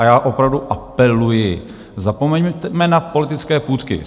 A já opravdu apeluji, zapomeňme na politické půtky.